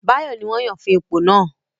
Báyọ̀ ní wọ́n yàn fún ipò náà